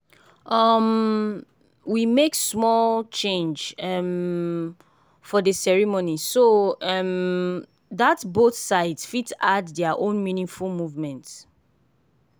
um we make small change um for dey ceremony so um that both sides fit add their own meaningful movement.